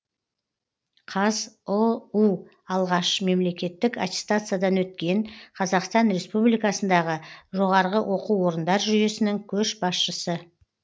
қазұу алғаш мемлекеттік аттестациядан өткен қазақстан республикасындағы жоғарғы оқу орындар жүйесінің көшбасшысы